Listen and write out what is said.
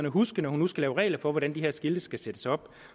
huske når hun nu skal lave regler for hvordan de her skilte skal sættes op